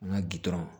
An ka gɛrɛ